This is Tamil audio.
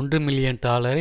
ஒன்று மில்லியன் டாலரை